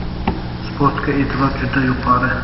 Sportga e’tibor juda yuqori.